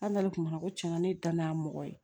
An n'ale tun b'a ko cɛn na ne dan n'a mɔgɔ ye